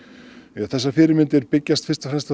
þessar fyrirmyndir byggja fyrst og fremst